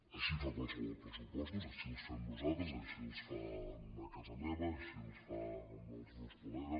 així qualsevol fa pressupostos així els fem nosaltres així es fan a casa meva així els fan els meus col·legues